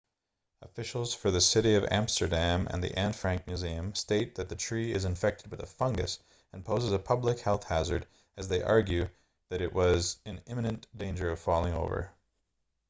officials for the city of amsterdam and the anne frank museum state that the tree is infected with a fungus and poses a public health hazard as they argue that it was in imminent danger of falling over